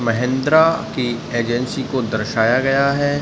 महैंद्रा की एजेंसी को दर्शाया गया है।